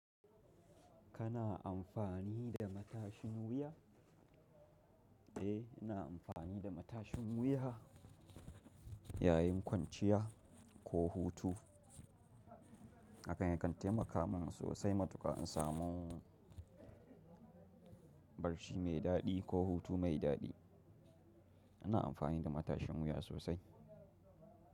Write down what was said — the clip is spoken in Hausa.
Kana amfani da matashin wuya? Eh, ina amfani da matashin wuya yayin kwanciya ko hutu. Hakan yakan taimaka min sosai matuka in samu barci mai daɗi ko hutu mai daɗi. Ina amfani da matashin wuya sosai.